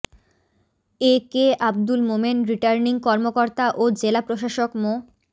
এ K Abdul Momen returning কর্মকর্তা ও জেলা প্রশাসক মো